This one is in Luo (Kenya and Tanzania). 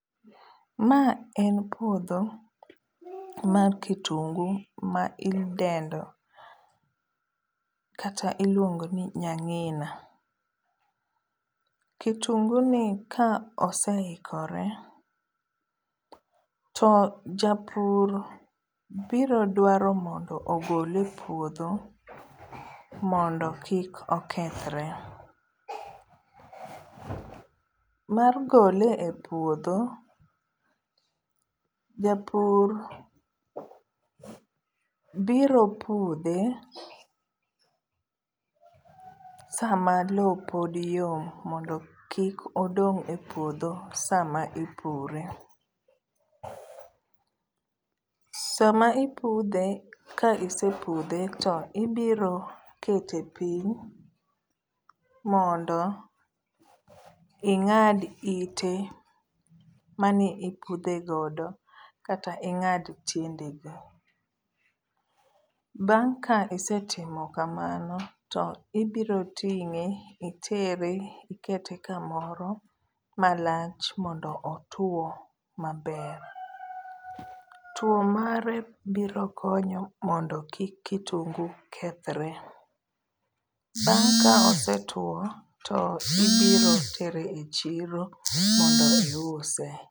Ma en puodho mar kitungu ma idendo kata iluongoni nyang'ina. Kitunguni ka oseikore to japur biro dwaro mondo ogole puodho mondo kik okethre. Mar gole e puodho japur biro pudhe sama loo pod yom mondo kik odong' e puodho sama ipure. Sama ipudhe ka isepudhe to ibiro kete piny mondo ing'ad ite maniiudhe godo, kata ing'ad tiendege. Bang' ka isetimo kamano to ibiro ting'e itere ikete kamoro malach mondo otuo maber. Tuo mare birokonyo mondo kik kitungu kethre. Bang' ka osetuo to ibiro tere e chiro mondo iuse.